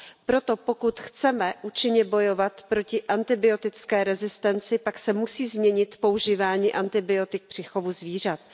Proto, pokud chceme účinně bojovat proti antibiotické rezistenci, pak se musí změnit používání antibiotik při chovu zvířat.